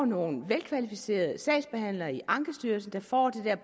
nogle velkvalificerede sagsbehandlere i ankestyrelsen der får det